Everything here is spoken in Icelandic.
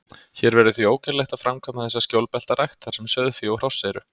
Hér verður því ógerlegt að framkvæma þessa skjólbeltarækt, þar sem sauðfé og hross eru.